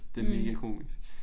Det megakomisk